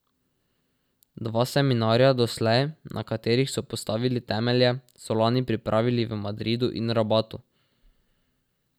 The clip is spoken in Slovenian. Dva seminarja doslej, na katerih so postavili temelje, so lani pripravili v Madridu in Rabatu.